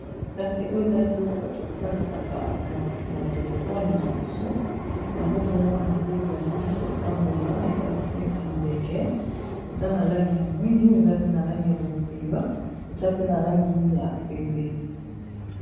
kasi oyo eza biloko bato basalisaka na telefone na biso yango ozomona ndeke ezali kotambola eza neti ndeke eza na langi ya mwindu eza pe na langi ya bozinga eza pe na langi ya pembe